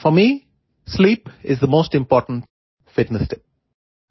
four me sleep is the most important fitness tip